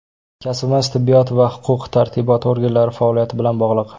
Kasbimiz tibbiyot va huquq tartibot organlari faoliyati bilan bog‘liq.